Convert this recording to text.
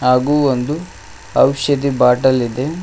ಹಾಗು ಒಂದು ಔಷಧಿ ಬಾಟಲ್ ಇದೆ.